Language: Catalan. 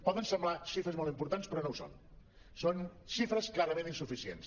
poden semblar xifres molt importants però no ho són són xifres clarament insuficients